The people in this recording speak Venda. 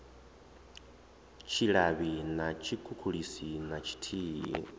tshilavhi na tshikhukhulisi na tshithihi